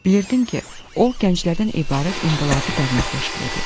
Bilirdim ki, o, gənclərdən ibarət inqilabi dərnək təşkil edib.